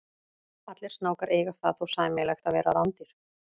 Allir snákar eiga það þó sameiginlegt að vera rándýr.